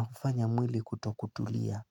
hufanya mwili kutokutulia.